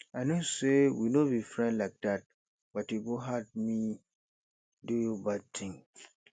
i know say we no be friend like dat but e go hard me do you bad thing